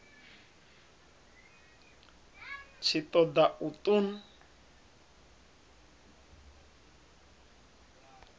tshi ṱo ḓa u ṱun